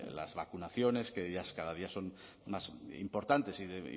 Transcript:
las vacunaciones que cada día son más importantes y